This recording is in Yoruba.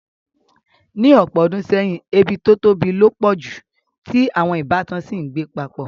Ní ọ̀pọ̀ odùn seyìn, ebí to tóbi lo pọ̀ ju, ti àwon ìbátan si n gbé papọ̀